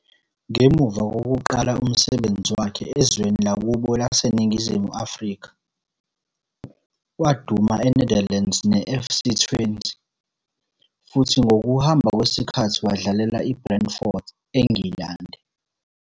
Ngemuva kokuqala umsebenzi wakhe ezweni lakubo laseNingizimu Afrika, waduma eNetherlands neFC Twente futhi ngokuhamba kwesikhathi wadlalela iBrentford eNgilandi.